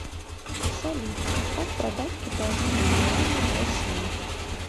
салют как продать китайские юани в россии